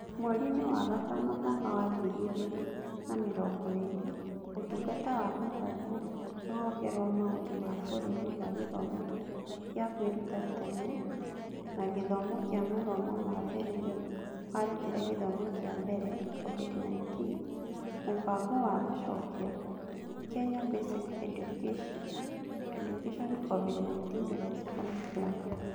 Mweriinĩ wa gatano mwaka wa ngiri igĩrĩ na mĩrongo ĩĩrĩ, Ũtungata wa Gĩthomo Rũhonge rwa Maũndũ ma Bũrũri rwa Gĩthomo gĩa Kwĩruta Tene na Gĩthomo kĩa Mathomo ma Mbere nĩ warutire Gĩthomo kĩa Mbere COVID-19 Mũbango wa Gũcokia (Kenya Basic Education COVID-19 Response Plan).